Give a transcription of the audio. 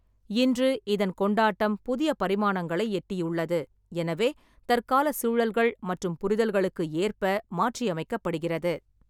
இன்று, இதன் கொண்டாட்டம் புதிய பரிமாணங்களை எட்டியுள்ளது, எனவே தற்காலச் சூழல்கள் மற்றும் புரிதல்களுக்கு ஏற்ப மாற்றியமைக்கப்படுகிறது.